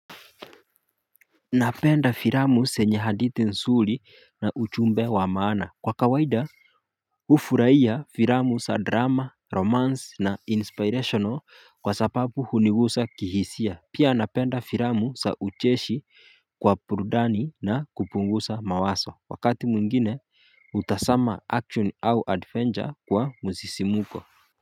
Napenda firamu senye haditi nsuli na uchumbe wa maana. Kwa kawaida, ufuraiya firamu sa drama, romance na inspirational kwa sapapu hunigusa kihisia. Pia napenda firamu sa ucheshi kwa prudani na kupungusa mawaso. Wakati mwingine, utasama action au adventure kwa mzisimuko.